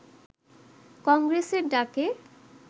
কংগ্রেসের ডাকে